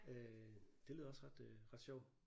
Øh det lyder også ret øh ret sjovt